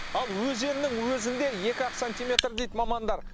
ал өзеннің өзінде екі ақ сантиметр дейді мамандар